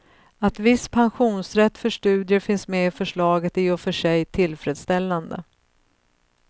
Att viss pensionsrätt för studier finns med i förslaget är i och för sig tillfredsställande.